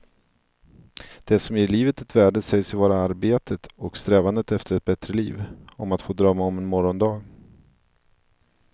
Det som ger livet ett värde sägs ju vara arbetet och strävandet efter ett bättre liv, om att få drömma om en morgondag.